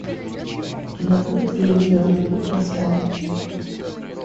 у тебя будет фильм звездный путь восстание